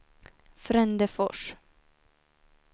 Frändefors